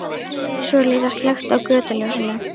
Svo er líka slökkt á götuljósinu.